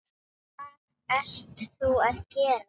Hvað ert þú að gera?